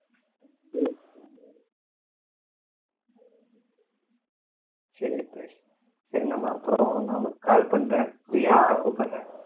சரி bye நம்ம அப்புறம் நான் உனக்கு call பண்றேன் free ஆயுடு கூப்பிடுறேன்